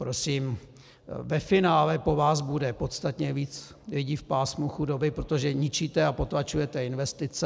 Prosím, ve finále po vás bude podstatně víc lidí v pásmu chudoby, protože ničíte a potlačujete investice.